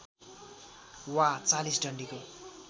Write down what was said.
वा ४० डन्डीको